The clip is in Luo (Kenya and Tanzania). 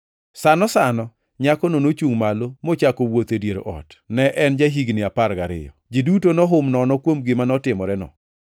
Sano sano nyakono nochungʼ malo mochako wuotho e dier ot (ne en ja-higni apar gariyo). Ji duto nohum nono kuom gima notimoreno.